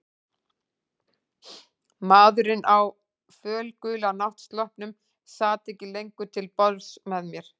Maðurinn á fölgula náttsloppnum sat ekki lengur til borðs með mér.